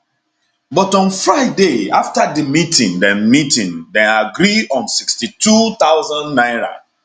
but on friday afta di meeting dem meeting dem agree on 62000 naira